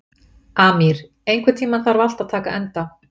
Amír, einhvern tímann þarf allt að taka enda.